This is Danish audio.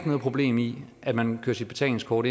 noget problem i at man kører sit betalingskort